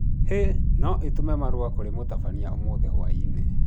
Hi, no ũtũme marũa kũrĩ mũtabania ũmũthĩ hwaĩinĩ